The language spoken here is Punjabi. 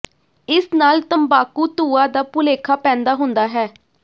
ਇਸ ਨਾਲ ਤੰਬਾਕੂ ਧੂਆਂ ਦਾ ਭੁਲੇਖਾ ਪੈਦਾ ਹੁੰਦਾ ਹੈ